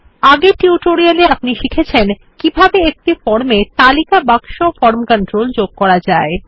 আগের এ আপনি শিখেছেন কিভাবে একটি ফর্ম এ একটি তালিকা বাক্স ফরম কন্ট্রোল যোগ করা যায়